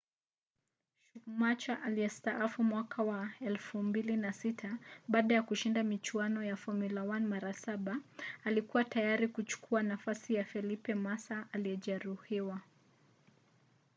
schumacher aliyestaafu mwaka wa 2006 baada ya kushinda michuano ya formula 1 mara saba alikua tayari kuchukua nafasi ya felipe massa aliyejeruhiwa